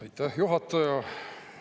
Aitäh, juhataja!